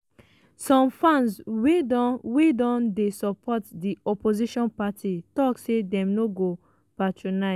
some fans wey don wey don dey support di opposition party tok say dem no go patronise